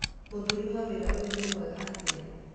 Mũruti wa wĩra ũyũ ni mwega atĩa.